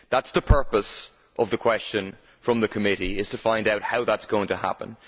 That is the purpose of the question from the committee to find out how that is going to happen.